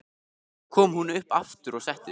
Svo kom hún upp aftur og settist.